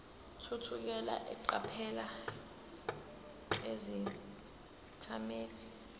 thukela eqaphela izethameli